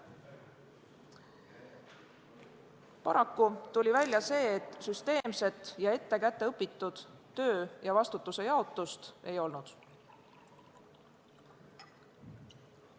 Paraku tuli välja, et süsteemset ja kätteõpitud töö ja vastutuse jaotust ei olnud.